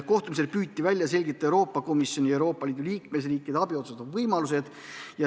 Kohtumisel püüti välja selgitada Euroopa Komisjoni ja Euroopa Liidu liikmesriikide abi osutamise võimalused.